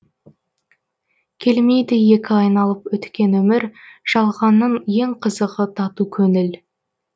келмейді екі айналып өткен өмір жалғанның ең қызығы тату көңіл